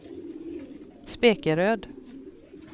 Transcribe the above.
Spekeröd